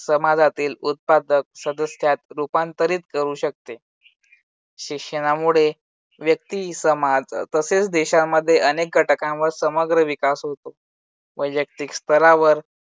समाजातील उत्पादक सदस्यात रूपांतरित करू शकते. शिक्षणामुळे व्यक्ती समाज तसेच देशांमध्ये अनेक घटकांवर समग्र विकास होतो. वैयक्तिक स्तरावर